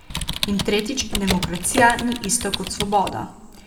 In tretjič, demokracija ni isto kot svoboda.